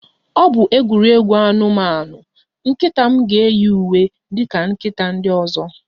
Ọ bụ egwuregwu anụmanụ, nkịta m ga-eyi uwe dị ka nkịta ndị ọzọ